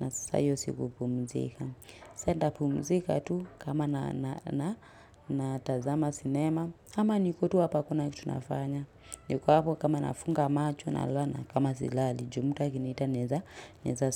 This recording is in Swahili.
na sasa hio si kupumzika. Sa nitapumzika tu kama natazama sinema. Ama niko tu hapa hakuna kitu nafanya. Niko hapo kama nafunga macho nalala na kama silali. Ju mtu akiniita naeza naeza.